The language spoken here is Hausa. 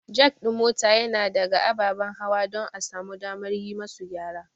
Jack ɗin mota yana ɗaga ababen hawa don a samu damar yi musu gyara.